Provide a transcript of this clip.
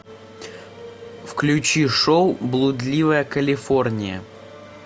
включи шоу блудливая калифорния